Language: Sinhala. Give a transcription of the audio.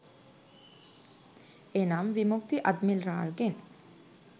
එනම් විමුක්ති අද්මිරාල්ගෙන්